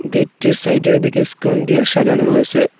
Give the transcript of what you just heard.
Gate টির সাইডে র দিকে স্কন দিয়া সাঁজানো রয়েসে।